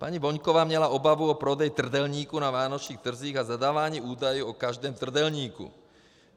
Paní Voňková měla obavu o prodej trdelníku na vánočních trzích a zadávání údajů o každém trdelníku.